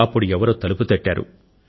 అప్పుడు ఎవరో తలుపు తట్టారు